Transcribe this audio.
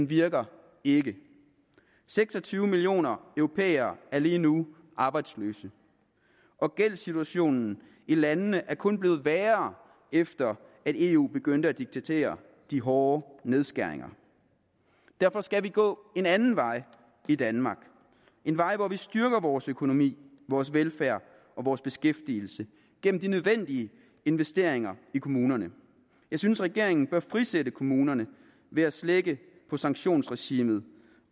virker ikke seks og tyve millioner europæere er lige nu arbejdsløse og gældssituationen i landene er kun blevet værre efter at eu begyndte at diktere de hårde nedskæringer derfor skal vi gå en anden vej i danmark en vej hvor vi styrker vores økonomi vores velfærd og vores beskæftigelse gennem de nødvendige investeringer i kommunerne jeg synes regeringen bør frisætte kommunerne ved at slække på sanktionsregimet